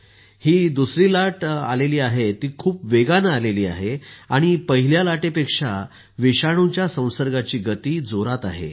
ही दुसरी लाट आली आहे ती खूप वेगानं आली आहे आणि पहिल्या लाटेपेक्षा विषाणुच्या संसर्गाची गति जोरात आहे